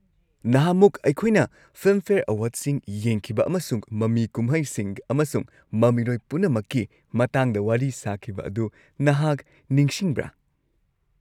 ꯅꯍꯥꯟꯃꯨꯛ ꯑꯩꯈꯣꯏꯅ ꯐꯤꯜꯝꯐꯦꯌꯔ ꯑꯦꯋꯥꯔꯗꯁꯤꯡ ꯌꯦꯡꯈꯤꯕ ꯑꯃꯁꯨꯡ ꯃꯃꯤ ꯀꯨꯝꯍꯩꯁꯤꯡ ꯑꯃꯁꯨꯡ ꯃꯃꯤꯔꯣꯏ ꯄꯨꯝꯅꯃꯛꯀꯤ ꯃꯇꯥꯡꯗ ꯋꯥꯔꯤ ꯁꯥꯈꯤꯕ ꯑꯗꯨ ꯅꯍꯥꯛ ꯅꯤꯡꯁꯤꯡꯕ꯭ꯔꯥ?